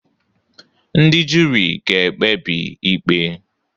Ndị juri ga-ekpebi ikpe.